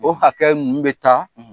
O hakɛ nunnuw bɛ taa;